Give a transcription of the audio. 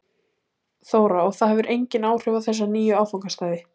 Þóra: Og það hefur engin áhrif á þessa nýju áfangastaði?